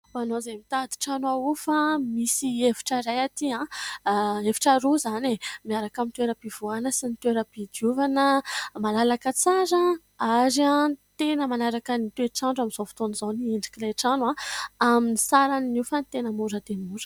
Ho anao izay mitady trano ahofa, misy efitra iray aty efitra roa izany miaraka amin'ny toeram-pivoahana sy ny toeram-pidiovana, malalaka tsara ary tena manaraka ny toetr'andro amin'izao fotoan'izao ny endriky ilay trano amin'ny saran'ny hofany tena mora dia mora.